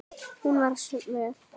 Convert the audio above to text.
Hún var svöl.